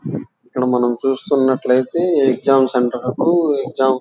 ఇక్కడ చూస్తున్నట్లయితే exam centre కి. ఏక్సమ్ --